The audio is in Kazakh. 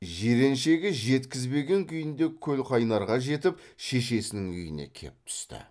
жиреншеге жеткізбеген күйінде көлқайнарға жетіп шешесінің үйіне кеп түсті